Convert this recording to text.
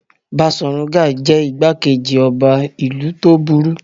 Baṣọ̀run Gáà jẹ́ ìgbákejì ọba ìlú tó burú.